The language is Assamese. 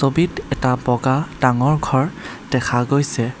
ছবিত এটা ডাঙৰ ঘৰ দেখা গৈছে।